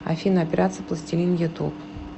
афина операция пластилин ютуб